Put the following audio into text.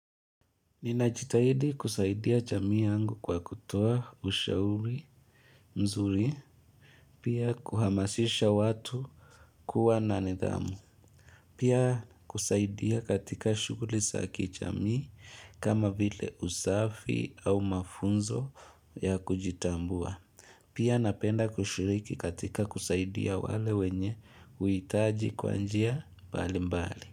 Ninajitahidi kusaidia jamii yangu kwa kutoa ushauri mzuri, pia kuhamasisha watu kuwa na nidhamu, Pia kusaidia katika shughuli za kijamii kama vile usafi au mafunzo ya kujitambua, pia napenda kushiriki katika kusaidia wale wenye uhitaji kwa njia mbali mbali.